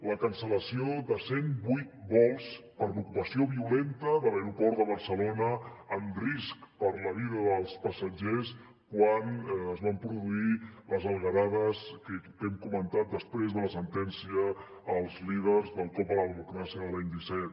la cancel·lació de cent vuit vols per l’ocupació violenta de l’aeroport de barcelona amb risc per la vida dels passatgers quan es van produir les algarades que hem comentat després de la sentència als líders del cop a la democràcia de l’any disset